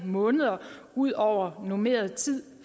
måneder ud over normeret tid